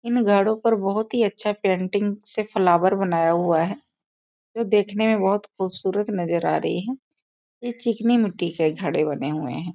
इन घड़ो पर बहुत ही अच्छे पेंटिंग से फ्लावर बनाया हुआ है जो देखने में बहुत खूबसूरत नजर आ रही है ये चिकनी मिट्टी के घड़े बने हुए हैं।